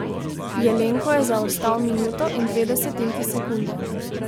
Jelenko je zaostal minuto in dve desetinki sekunde.